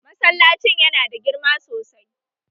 Masallacin yana da girma sosai